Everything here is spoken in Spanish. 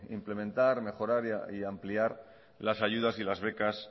implementar mejorar y ampliar las ayudas y las becas